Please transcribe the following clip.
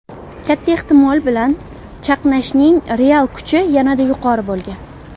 katta ehtimol bilan chaqnashning real kuchi yanada yuqori bo‘lgan.